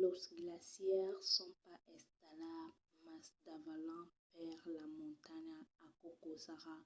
los glacièrs son pas estables mas davalan per la montanha. aquò causarà